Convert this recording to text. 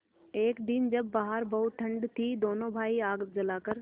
एक दिन जब बाहर बहुत ठंड थी दोनों भाई आग जलाकर